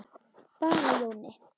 Bara Jóni.